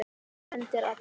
Það hendir alla